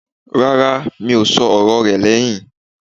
Rárá, mi ò sọ ọ̀rọ̀ rẹ̀ lẹ́hìn.